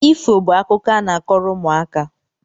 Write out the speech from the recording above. Ifo bụ akụkọ a na-akọrọ ụmụaka